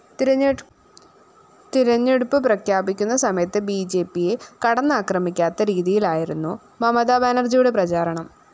തെരഞ്ഞെടുപ്പ്‌ പ്രഖ്യാപിക്കുന്ന സമയത്ത്‌ ബിജെപിയെ കടന്നാക്രമിക്കാത്ത രീതിയിലായിരുന്നു മമതാബാനര്‍ജിയുടെ പ്രചാരണം